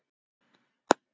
Guðrún: Og er nóg veiði?